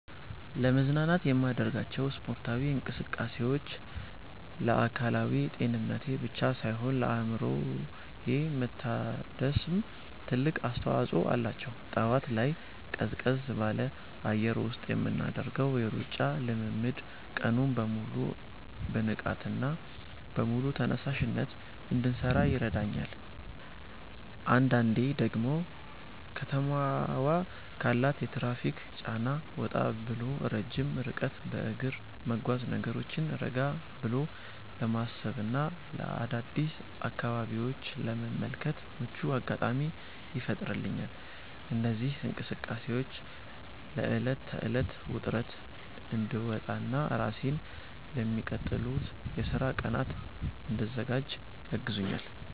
ለመዝናናት የማደርጋቸው ስፖርታዊ እንቅስቃሴዎች ለአካላዊ ጤንነቴ ብቻ ሳይሆን ለአእምሮዬ መታደስም ትልቅ አስተዋጽኦ አላቸው። ጠዋት ላይ ቀዝቀዝ ባለ አየር ውስጥ የምናደርገው የሩጫ ልምምድ ቀኑን በሙሉ በንቃትና በሙሉ ተነሳሽነት እንድሠራ ይረዳኛል። አንዳንዴ ደግሞ ከተማዋ ካላት የትራፊክ ጫና ወጣ ብሎ ረጅም ርቀት በእግር መጓዝ፣ ነገሮችን ረጋ ብሎ ለማሰብና አዳዲስ አካባቢዎችን ለመመልከት ምቹ አጋጣሚ ይፈጥርልኛል። እነዚህ እንቅስቃሴዎች ከዕለት ተዕለት ውጥረት እንድወጣና ራሴን ለሚቀጥሉት የሥራ ቀናት እንድዘጋጅ ያግዙኛል።